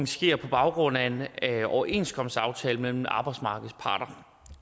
sker på baggrund af en overenskomstaftale mellem arbejdsmarkedets parter